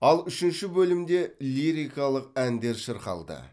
ал үшінші бөлімде лирикалық әндер шырқалды